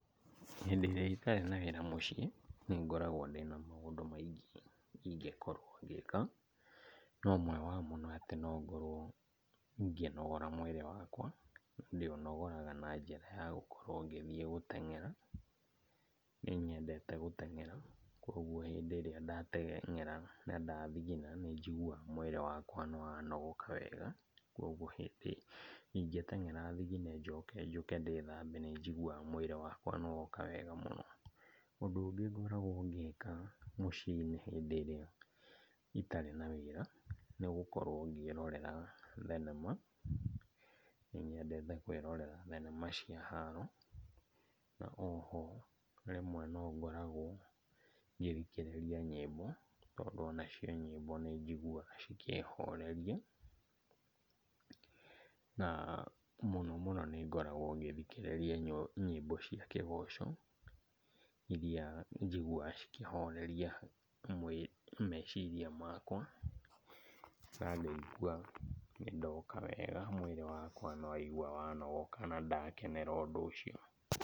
Hĩndĩ ĩrĩa itarĩ na wĩra mũciĩ, nĩngoragwo ndĩna maũndũ maingĩ ingĩkorwo ngĩka, na ũmwe wao nĩ atĩ no ngorwo ngĩnogora mwĩrĩ wakwa. Ndĩũnogoraga na njĩra ya gũkorwo ngĩthiĩ gũteng'era. Nĩ nyendete gũteng'era, koguo hĩndĩ ĩrĩa ndateng'era na ndathigina nĩ njiguaga mwĩrĩ wakwa nĩ wanogoka wega. Koguo hĩndĩ ingĩteng'era thigine njoke njũke ndĩthambe nĩnjiguaga mwĩrĩ wakwa nĩ woka wega mũno. Ũndũ ũngĩ ngoragwo ngĩka mũciĩ-inĩ hĩndĩ ĩrĩa itarĩ na wĩra nĩ gũkorwo ngĩrorera thenema. Nĩ nyendete kwĩrorera thenema cia haro, na oho rĩmwe no ngoragwo ngĩthikĩrĩria nyĩmbo, tondũ onacio nyĩmbo nĩ njiguaga cikĩhoreria. Na mũno mũno nĩ ngoragwo ngĩthikĩrĩria nyĩmbo cia kĩgoco, iria njiguaga cikĩhoreria meciria makwa, na ngaigua nĩ ndoka wega, mwĩrĩ wakwa nĩ waigua wanogoka na ndakenera ũndũ ũcio.